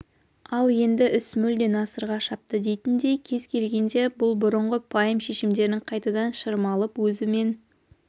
ал енді іс мүлде насырға шапты дейтіндей кез келгенде бұл бұрынғы пайым-шешімдерін қайтадан шырмалып өзі мен